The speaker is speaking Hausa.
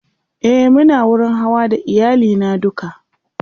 e Muna wurin Hawa da iyali na duka